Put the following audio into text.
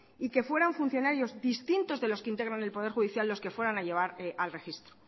y que fueran funcionarios distintos de los que integran el poder judicial los que fueran a llevar al registro